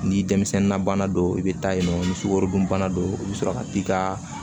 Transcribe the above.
Ni denmisɛnnin na bana don i bɛ taa yen nɔ ni sukarodunbana don i bɛ sɔrɔ ka t'i ka